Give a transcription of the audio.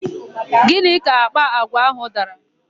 Gịnị ka àkpà àgwà áhụ̀ dara?